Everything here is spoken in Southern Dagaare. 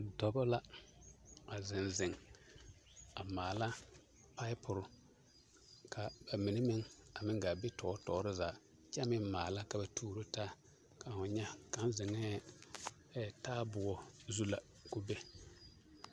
Dɔbɔ la a zeŋ zeŋ a maala papore ka a mine meŋ a meŋ gaa be tɔɔre tɔɔre zaa kyɛ meŋ maala ka ba tuoro taa ka ho nyɛ, kaŋ zeŋɛɛ taaboɔ zu la k'o be.